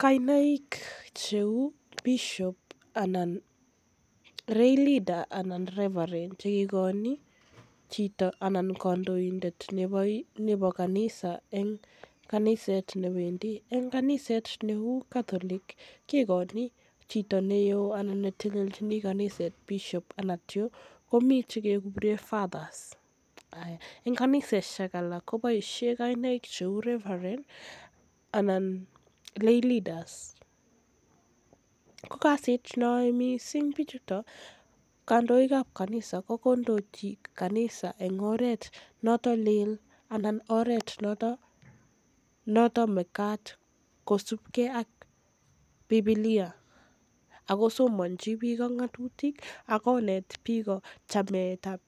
Kainaik cheu bishop anan rayleader anan revarend chekikojin chito ana kndoindet nebo kaniset eng kaniset ne wendi eng kaniset neu catholic kekochi chito neo anan chito ne teleljin kaniset Bishop anan komi chekele Fathers eng kaniseshek alak koboishe kainaik heu revarend anan rayleaders ko kasit ne yoei bichutok kandoikab kanisa ko kondoji kanisa engoret notok leel anan oret noto magat kosubgei ak bibilia ako somonji ngatutik ak ako net biko chametab